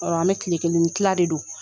Ɔ an bɛ tile kelen ni tila de don